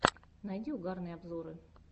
найди угарные обзоры